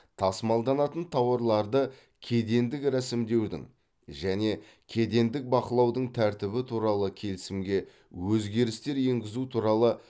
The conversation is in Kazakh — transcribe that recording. тасымалданатын тауарларды кедендік рәсімдеудің және кедендік бақылаудың тәртібі туралы келісімге өзгерістер енгізу туралы